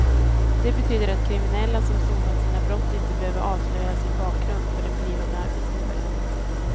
Det betyder att kriminella som sonat sina brott inte behöver avslöja sin bakgrund för en blivande arbetsgivare.